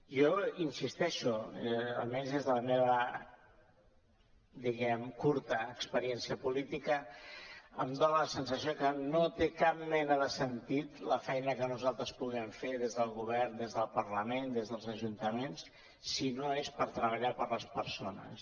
jo hi insisteixo almenys des de la meva diguem ne curta experiència política em dona la sensació que no té cap mena de sentit la feina que nosaltres puguem fer des del govern des del parlament des dels ajuntaments si no és per treballar per les persones